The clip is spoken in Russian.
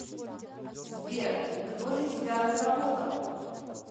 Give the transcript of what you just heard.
сбер и кто же тебя разработал